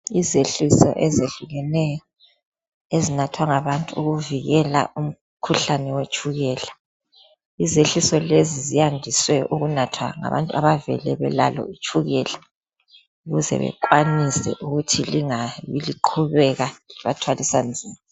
Izehliso ezehlukeneyo ezinathwa ngabantu ukuvikela umkhuhlane wetshukela. Izehliso lezi ziyandiswe ukunathwa ngabantu abavele belalo itshukela ukuze bekwanise ukuthi lingabi liqhubeka libathwalisa nzima